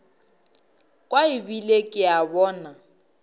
kwa ebile ke a bona